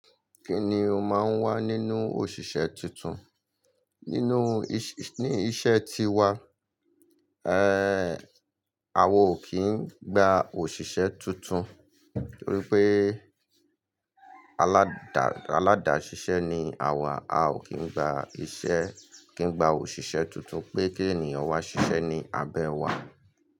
Kí ni o máa ń wá nínú òṣìṣẹ́ tuntun? Nínú iṣẹ́ tí wa, àwa o kìí gba òṣìṣẹ́ tuntun, torí pé aládà ṣíṣe ni àwa. A ò kí ń gba iṣẹ́, kì n gba òṣìṣẹ́ tuntun pé kí ènìyàn wá ṣiṣẹ́ ní abẹ́ wa.